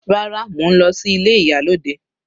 Rárá, mo ń lọ sí ilé ìyálòde.